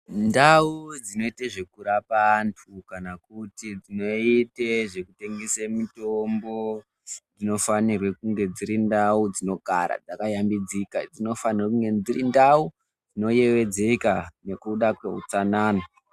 Ndau dzinoite zvekurapa antu, kanakuti dzinoite zvekutengese mitombo, dzinofanirwe kunge dziri ndau dzinogara dzakashambidzika. Dzinofanire kunge dzirindau dzinoyevedzeka nekuda kwehutsanana.